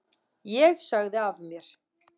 Ég sagði af mér.